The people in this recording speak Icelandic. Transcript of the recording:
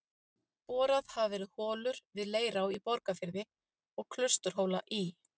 Boraðar hafa verið holur við Leirá í Borgarfirði og Klausturhóla í